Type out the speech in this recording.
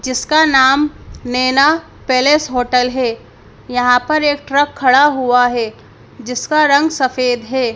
जिसका नाम Naina palace hotel है यहां पर एक ट्रक खड़ा हुआ है जिसका रंग सफेद है।